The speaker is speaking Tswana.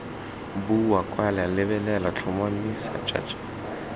bua kwala lebelela tlhotlhomisa jj